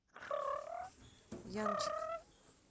янчик